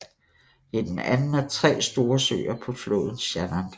Det er den anden af tre store søer på floden Shannon